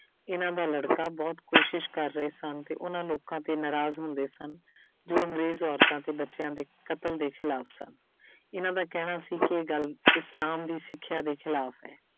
ਇਹਨਾਂ ਦਾ ਲੜਕਾ ਬਹੁਤ ਕੋਸ਼ਿਸ਼ ਕਰ ਰਹੇ ਸਨ ਤੇ ਉਹਨਾਂ ਲੋਕਾਂ ਤੇ ਨਾਰਾਜ਼ ਹੁੰਦੇ ਸਨ ਜੋ ਅੰਗਰੇਜ਼ ਔਰਤਾਂ ਤੇ ਬੱਚਿਆਂ ਦੇ ਕਤਲ ਦੇ ਖਿਲਾਫ਼ ਸਨ ਇਹਨਾਂ ਦਾ ਕਹਿਣਾ ਸੀ ਕਿ ਇਹ ਗੱਲ ਇਸਲਾਮ ਦੀ ਸਿੱਖਿਆ ਦੇ ਖਿਲਾਫ਼ ਹੈ।